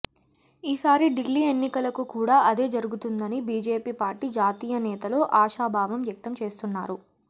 ఈసారి ఢిల్లీ ఎన్నికలకు కూడా అదే జరుగుతుందని బీజేపీ పార్టీ జాతీయ నేతలు ఆశాభావం వ్యక్తం చేస్తున్నారు